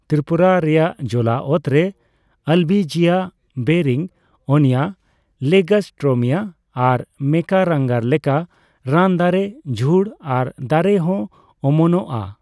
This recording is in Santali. ᱛᱨᱤᱯᱩᱨᱟ ᱨᱮᱭᱟᱜ ᱡᱚᱞᱟᱚᱛᱨᱮ ᱟᱞᱵᱤᱡᱤᱭᱟ, ᱵᱮᱨᱤᱝᱳᱱᱤᱭᱟ ᱞᱮᱜᱟᱨᱥᱴᱨᱳᱢᱤᱭᱟ ᱟᱨ ᱢᱮᱠᱟᱨᱟᱝᱜᱟᱨ ᱞᱮᱠᱟ ᱨᱟᱱ ᱫᱟᱨᱮ, ᱡᱷᱩᱲ ᱟᱨ ᱫᱟᱨᱮ ᱦᱚ ᱚᱢᱚᱱᱚᱜᱼᱟ᱾